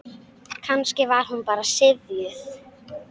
Kannski var hún bara syfjuð.